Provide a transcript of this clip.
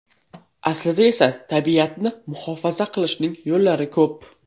Aslida esa tabiatni muhofaza qilishning yo‘llari ko‘p.